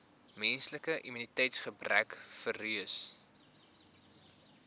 menslike immuniteitsgebrekvirus